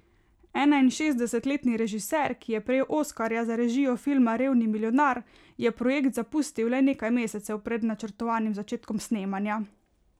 Enainšestdesetletni režiser, ki je prejel oskarja za režijo filma Revni milijonar, je projekt zapustil le nekaj mesecev pred načrtovanim začetkom snemanja.